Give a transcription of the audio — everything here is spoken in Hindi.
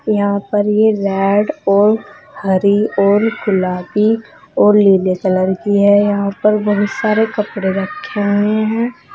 यहां पर ये रेड और हरी और गुलाबी और नीले कलर की है यहां पर बहुत सारे कपड़े रखे हुए हैं।